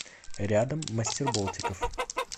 рядом мастерболтиков